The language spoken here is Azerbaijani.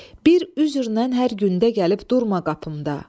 Bir üzr lə hər gündə gəlib durma qapımda.